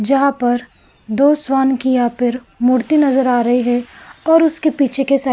जहां पर दो श्वान कि यहां पर मूर्ति नजर आ रही है और उसके पीछे के साइड --